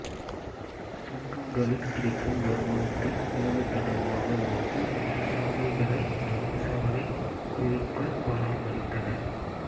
சுங்கங்களில் கிடைக்கும் வருமானத்தை மூலதனமாக வாங்கி இந்த சாலைகளை நெடுஞ்சாலை குழுக்கள் பராமரித்தன